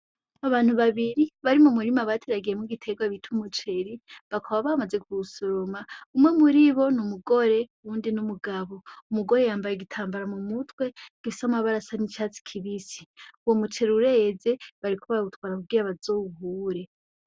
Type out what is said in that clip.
Abantu babiri bari mumurima bateragiyemwo igiterwa bita umuceri, bakaba bamaze kuwusoroma, umwe muribo ni umugore uwundi ni umugabo. Umugore yambaye igitambara mumutwe gifise amabara asa n'icatsi kibisi. Uwo muceri ureze bariko bawutwara kugira bazowuhure.